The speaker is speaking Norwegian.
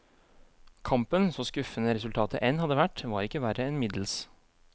Kampen, så skuffende resultatet enn hadde vært, var ikke verre enn middels.